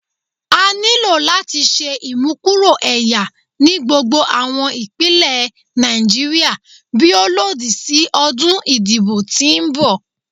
A nilo lati ṣe imukuro ẹya ni gbogbo awọn ipinlẹ Naijiria bi o lodi si ọdun idibo ti nbọ